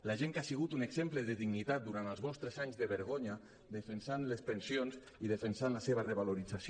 la gent que ha sigut un exemple de dignitat durant els vostres anys de vergonya defensant les pensions i defensant la seva revalorització